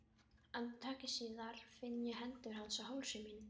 Andartaki síð ar finn ég hendur hans á hálsi mínum.